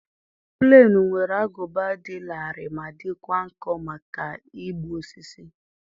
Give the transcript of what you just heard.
Plenụ nwere agụba dị larịị ma dịkwa nkọ maka ịkpụ osisi.